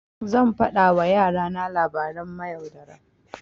Zan faɗa wa yara na labaran mayaudara.